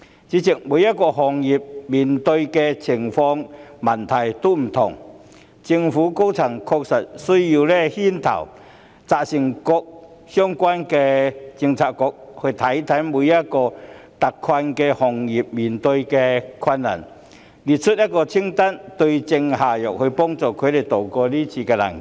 主席，每個行業所面對的情況及問題各異，因此確實需要政府高層牽頭，責成各相關政策局檢視每一個特困行業正面對的困難，列出一份清單，對症下藥，幫助他們渡過是次難關。